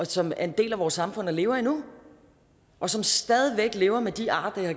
som er en del af vores samfund og lever endnu og som stadig væk lever med de ar